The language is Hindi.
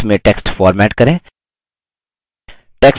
drawings में text format करें